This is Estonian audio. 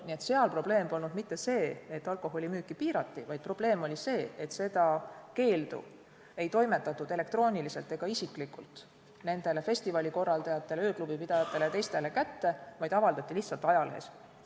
Nii et seal ei olnud probleem mitte see, et alkoholimüüki piirati, vaid probleem oli see, et seda keeldu ei toimetatud elektrooniliselt ega isiklikult nendele festivalikorraldajatele, ööklubipidajatele ja teistele kätte, vaid see avaldati lihtsalt ajalehes.